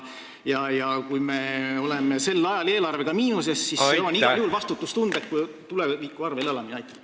Kui me oleme sel ajal eelarvega miinuses, siis see on igal juhul vastutustundetu tuleviku arvel elamine.